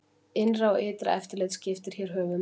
Innra og ytra eftirlit skiptir hér höfuð máli.